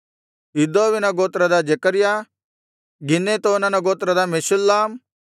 ಇದ್ದೋವಿನ ಗೋತ್ರದ ಜೆಕರ್ಯ ಗಿನ್ನೆತೋನನ ಗೋತ್ರದ ಮೆಷುಲ್ಲಾಮ್